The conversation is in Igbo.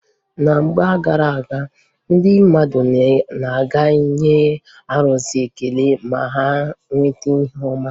Na mgbe gara aga, ndị mmadụ na-aga enye arụsị ekele ma ha nweta ihe ọma.